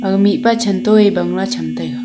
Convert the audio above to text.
a mihpa chanto e bangla cham taiga.